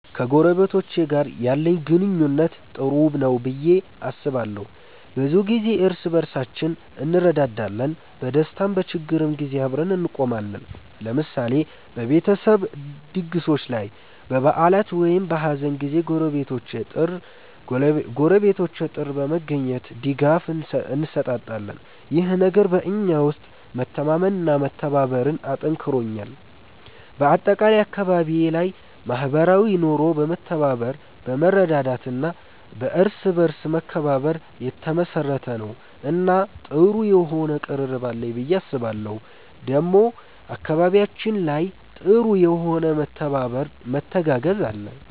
ከጎረቤቶቼ ጋር ያለኝ ግንኙነት ጥሩ ነው ብዬ አስባለሁ። ብዙ ጊዜ እርስ በርሳችን እንረዳዳለን፣ በደስታም በችግርም ጊዜ አብረን እንቆማለን። ለምሳሌ በቤተሰብ ድግሶች ላይ፣ በበዓላት ወይም በሀዘን ጊዜ ጎረቤቶቼ ጥር በመገኘት ድጋፍ እንሰጣጣለን። ይህ ነገር በእኛ ውስጥ መተማመንና መተባበርን አጠንክሮልናል። በአጠቃላይ አካባቢዬ ላይ ማህበራዊ ኑሮ በመተባበር፣ በመረዳዳት እና በእርስ በርስ መከባበር የተመሰረተ ነው እና ጥሩ የሆነ ቅርርብ አለኝ ብዬ አስባለሁ ዴሞ አካባቢያችን ላይ ጥሩ የሆነ መተባበር መተጋገዝ አለ።